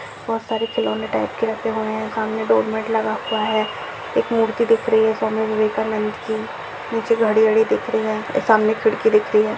बहुत सारी खिलौने टाइप के रखे हुए है सामने डोर मेट लगा हुआ है एक मूर्ति दिख रही है स्वामी विवेकानंद की नीचे घड़ी वड़ी दिख रही है और सामने खिड़की दिख रही है।